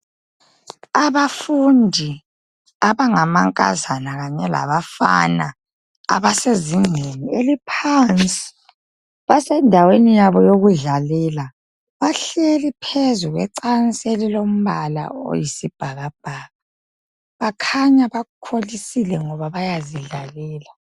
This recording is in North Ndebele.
Abafundi abangamankazana kanye labafana, abasezingeni eliphansi. Basendaweni yabo yokudlalela ,bahleli phezu kwecansi elilombala oyisibhakabhaka. Bakhanya bakholisile ngoba bayazidlalela.